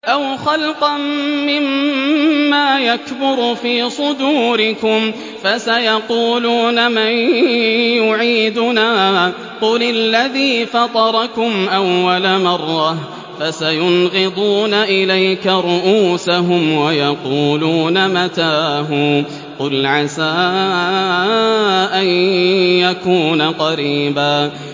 أَوْ خَلْقًا مِّمَّا يَكْبُرُ فِي صُدُورِكُمْ ۚ فَسَيَقُولُونَ مَن يُعِيدُنَا ۖ قُلِ الَّذِي فَطَرَكُمْ أَوَّلَ مَرَّةٍ ۚ فَسَيُنْغِضُونَ إِلَيْكَ رُءُوسَهُمْ وَيَقُولُونَ مَتَىٰ هُوَ ۖ قُلْ عَسَىٰ أَن يَكُونَ قَرِيبًا